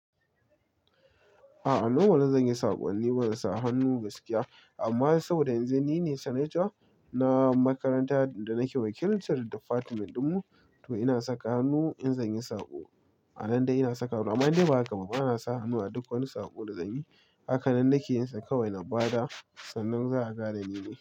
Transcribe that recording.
A'a nomal zan yi saƙonni ni bana sa hannu gaskiya amma saboda yanzu nine Santa na makaranta da nake wakilcin difatment dinmu i ina saka hannu idan zanyi saƙo a nan dai ina saka hannu amma dai ba haka ba bana sa hannu a duk wani saƙo da zanyi hakan nan nake yinsa kawai na bada sannan za a gara ni ne.